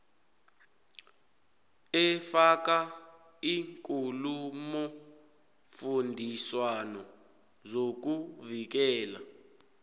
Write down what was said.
efaka iinkulumofundiswano zokuvikela